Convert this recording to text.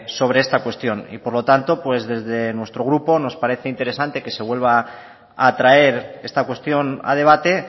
sobre esta cuestión y por lo tanto pues desde nuestro grupo nos parece interesante que se vuelva a traer esta cuestión a debate